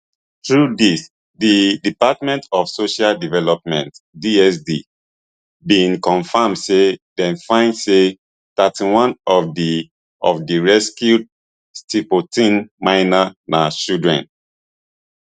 through dis di department of social development dsd bin confam say dem find say thirty-one of di of di rescued stilfontein miners na children